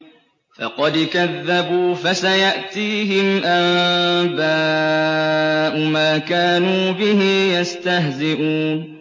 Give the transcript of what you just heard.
فَقَدْ كَذَّبُوا فَسَيَأْتِيهِمْ أَنبَاءُ مَا كَانُوا بِهِ يَسْتَهْزِئُونَ